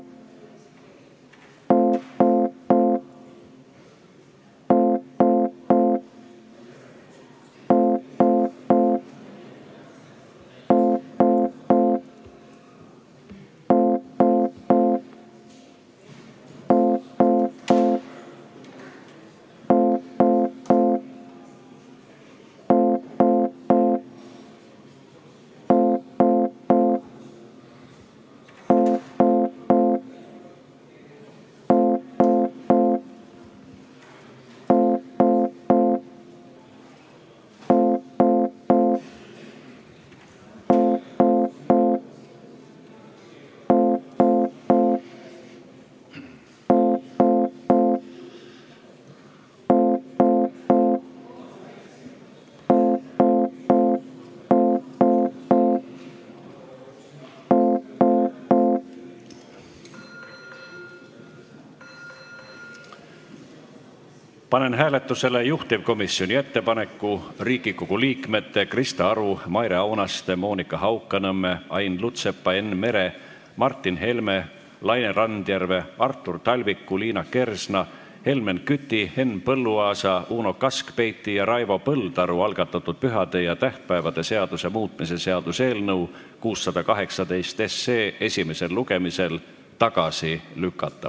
Panen hääletusele juhtivkomisjoni ettepaneku Riigikogu liikmete Krista Aru, Maire Aunaste, Monika Haukanõmme, Ain Lutsepa, Enn Mere, Martin Helme, Laine Randjärve, Artur Talviku, Liina Kersna, Helmen Küti, Henn Põlluaasa, Uno Kaskpeiti ja Raivo Põldaru algatatud pühade ja tähtpäevade seaduse muutmise seaduse eelnõu 618 esimesel lugemisel tagasi lükata.